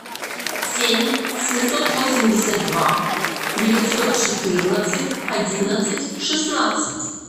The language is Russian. семь семьсот восемьдесят два девятьсот четырнадцать одиннадцать шестнадцать